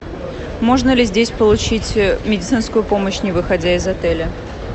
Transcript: можно ли здесь получить медицинскую помощь не выходя из отеля